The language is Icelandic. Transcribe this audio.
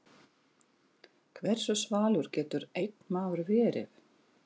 Hversu svalur getur einn maður verið?